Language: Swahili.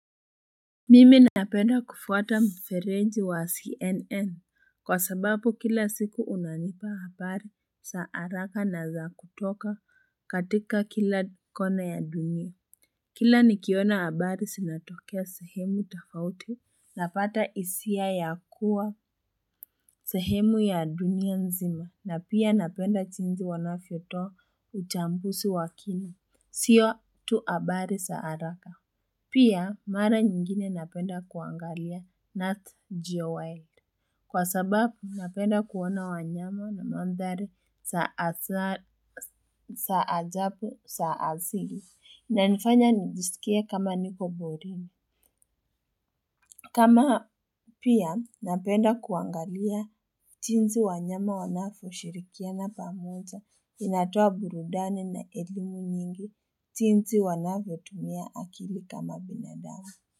Mimi napenda kufuata mferenji wa CNN kwa sababu kila siku unanipa habari sa haraka na za kutoka katika kila kona ya dunia. Kila nikiona habari sinatokea sehemu tofauti. Napata isia ya kuwa sehemu ya dunia nzima na pia napenda jinsi wanavyotoa uchambuzi wakini. Sio tu habari saaraka. Pia, mara nyingine napenda kuangalia Nat Jowell. Kwa sababu, napenda kuona wanyama na mandhari za ajabu za asili na nifanya nijisikie kama niko porini. Kama pia, napenda kuangalia jinsi wanyama wanavyo shirikia na pamoja inatoa burudani na elimu nyingi jinsi wanavyotumia akili kama binadamu.